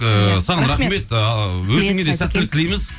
ыыы саған рахмет ы өзіңе де сәттілік тілейміз